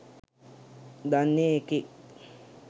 දන්න එකෙක්